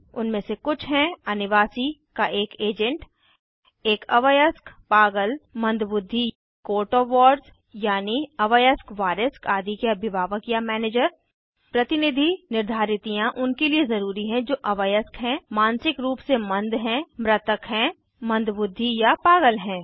उनमे से कुछ हैं अनिवासी का एक एजेंट एक अवयस्क पागल या मंद बुद्धि कोर्ट ओएफ वार्ड्स यानी अवयस्क वारिस आदि के अभिभावक या मैनेजर प्रतिनिधि निर्धारितियाँ उनके लिए ज़रूरी हैं जो अवयस्क हैं मानसिक रूप से मंद हैं मृतक हैं मंद बुद्धि या पागल हैं